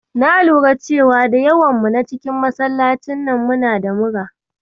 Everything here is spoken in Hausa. Na lura da cewa da yawan mu na cikin masallacin nan muna da mura.